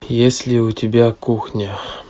есть ли у тебя кухня